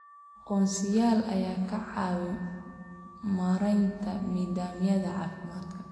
Aqoonsiyaal ayaa ka caawiya maaraynta nidaamyada caafimaadka.